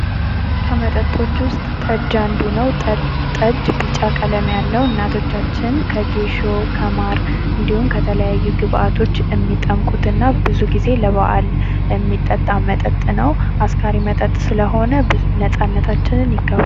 ከመጠጦች ውስጥ ጠጅ አንዱ ነው። ጠጅ ቢጫ ቀለም ያለው እናቶቻችን ከጌሾ ከማር እንዲሁም ከተለያዩ ግብአቶች እሚጠምቁትና ብዙ ጊዜ ለበአል እሚጠጣ መጠጥ ነው። አስካሪ መጠጥ ስለሆነ ነፃነታችንን ይጋፋል።